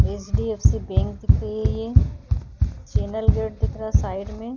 HDFC bank दिख रही है ये चैनल गेट दिख रहा है साइड में।